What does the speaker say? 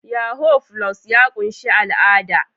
Yahoo+ ya ƙunshi al'ada